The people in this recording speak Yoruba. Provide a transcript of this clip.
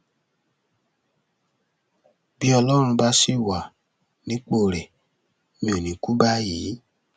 bí ọlọrun bá sì wà nípò rẹ mi ò ní í kú báyìí